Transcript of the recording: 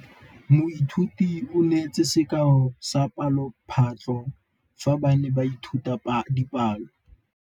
Moithuti o neetse sekaô sa palophatlo fa ba ne ba ithuta dipalo.